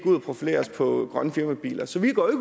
ud og profilerer os på grønne firmabiler så vi går